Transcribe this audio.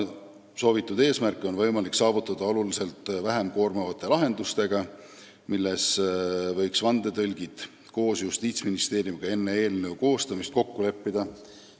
Soovitud eesmärke on võimalik saavutada oluliselt vähem koormavate lahendustega, milles vandetõlgid võiksid koos Justiitsministeeriumiga enne eelnõu koostamist kokku leppida.